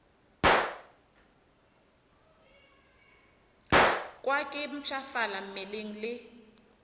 kwa ke mpshafala mmeleng le